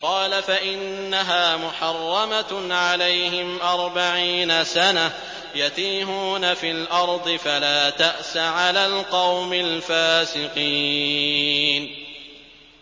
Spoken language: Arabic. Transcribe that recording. قَالَ فَإِنَّهَا مُحَرَّمَةٌ عَلَيْهِمْ ۛ أَرْبَعِينَ سَنَةً ۛ يَتِيهُونَ فِي الْأَرْضِ ۚ فَلَا تَأْسَ عَلَى الْقَوْمِ الْفَاسِقِينَ